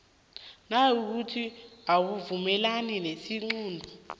nayikuthi awuvumelani nesiqunto